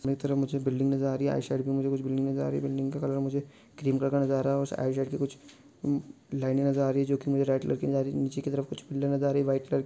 सभी तरफ मुझे बिल्डिंग नजर आ रही है मुझे बिल्डिंग नजर आ रही है बिल्डिंग का कलर मुझे ग्रीन आ रहा है कुछ लाइने नजर आ रही है जो की रेड कलर नीचे की तरफ वाइट कलर --